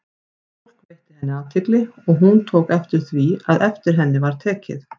Fólk veitti henni athygli, og hún tók eftir því, að eftir henni var tekið.